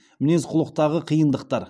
мінез құлықтағы қиындықтар